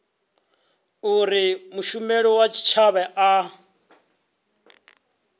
uri mushumeli wa tshitshavha a